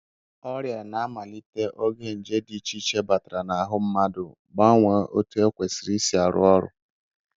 Ọrịa na-amalite oge nje dị iche iche batara n'ahụ mmadụ, gbanwee etu ọ kwesịrị isi arụ ọrụ